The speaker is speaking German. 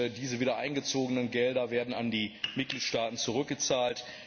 Diese wiedereingezogenen Gelder werden an die Mitgliedstaaten zurückgezahlt.